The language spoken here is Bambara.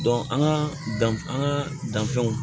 an ka dan an ka danfɛnw ma